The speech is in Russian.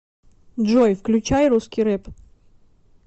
джой включай русский рэп